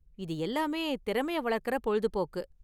இது எல்லாமே திறமையை வளர்க்குற பொழுதுபோக்கு.